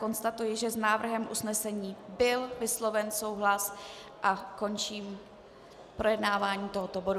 Konstatuji, že s návrhem usnesení byl vysloven souhlas, a končím projednávání tohoto bodu.